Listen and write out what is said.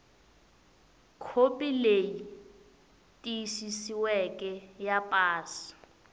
khopi leyi tiyisisiweke ya pasi